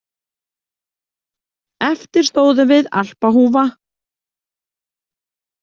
Eftir stóðum við Alpahúfa.